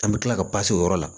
An bɛ tila ka o yɔrɔ la